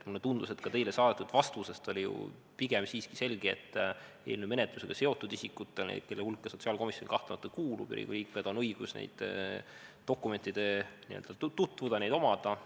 Mulle tundus, et ka teile saadetud vastusest oli ju pigem siiski selge, et eelnõu menetlusega seotud isikutel, kelle hulka sotsiaalkomisjon kahtlemata kuulub, on õigus nende dokumentidega tutvuda ja neid omada.